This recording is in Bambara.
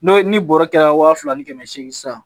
N'o ni bɔrɔ kɛra waa fila ni kɛmɛ seegin san